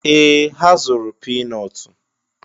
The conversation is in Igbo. Ee! Ha zụrụ pii nọọtụ